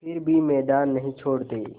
फिर भी मैदान नहीं छोड़ते